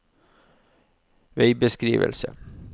veibeskrivelse